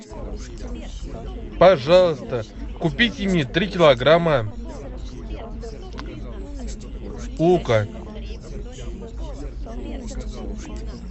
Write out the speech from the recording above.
пожалуйста купите мне три килограмма лука